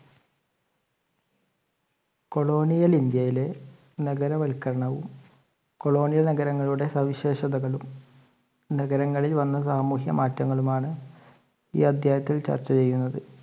Colonial ഇന്ത്യയിലെ നഗര വൽക്കരണം, Colonial നഗരങ്ങളുടെ സവിശേഷതകളും നഗരങ്ങളിൽ വന്ന സാമൂഹിക മാറ്റങ്ങളും ആണ് ഈ അദ്ധ്യായത്തിൽ ചർച്ച ചെയ്യുന്നത്.